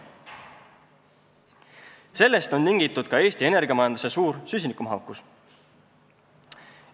Sellest on tingitud ka Eesti energiamajanduse suur süsinikumahukus.